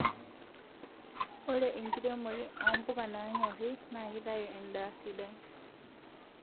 Ore enkiremore o mbuka nanyorii na kitaaayu edaa sidai